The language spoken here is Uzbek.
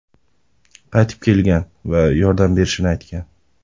qaytib kelgan va yordam berishini aytgan.